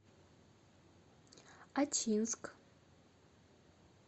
ачинск